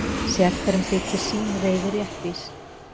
Sérhverjum þykir sín reiði réttvís.